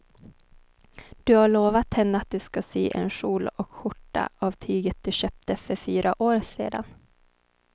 Du har lovat henne att du ska sy en kjol och skjorta av tyget du köpte för fyra år sedan.